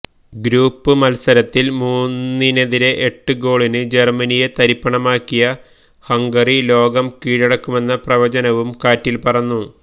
group മത്സരത്തിൽ മൂന്നിനെതിരെ എട്ട് ഗോളിന് ജർമനിയെ തരിപ്പണമാക്കിയ ഹംഗറി ലോകം കീഴടക്കുമെന്ന പ്രവചനവും കാറ്റിൽപറന്നു